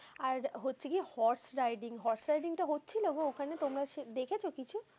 আর হচ্ছে কি horse riding horseriding টা হচ্ছিলো গো ওখানে? তোমরা দেখেছো কিছু?